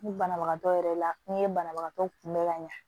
Ni banabagatɔ yɛrɛ la n'i ye banabagatɔ kunbɛ ka ɲa